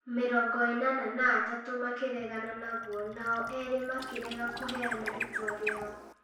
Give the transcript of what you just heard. mĩrongo ĩnana na atatũ makĩregana naguo, nao erĩmakĩrega kũheana itua rĩao.